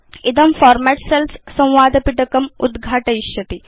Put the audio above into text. इदम् format cells संवादपिटकम् उद्घाटयिष्यति